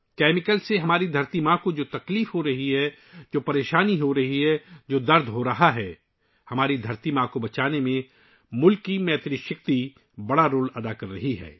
chemicals کی وجہ سے ہمارا مادر وطن ، جن دکھ ، درد اور مصائب کا سامنا کر رہا ہے، اس ملک کی دھرتی کو بچانے میں ناری شکتی بڑا کردار ادا کر رہی ہے